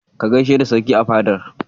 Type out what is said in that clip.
Ka gaishe da Sarki a fadar.